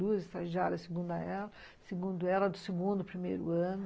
Duas estagiárias segundo ela, segundo ela do segundo, primeiro ano.